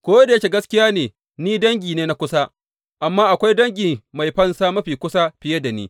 Ko da yake gaskiya ne ni dangi ne na kusa, amma akwai dangi mai fansa mafi kusa fiye da ni.